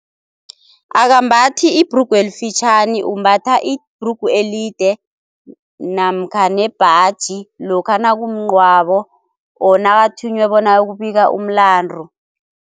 Akambathi ibhrugu elifitjhani, umbatha ibhrugu elide namkha nebhaji lokha nakumngcwabo or nakathunywe bona ayokubika umlandu.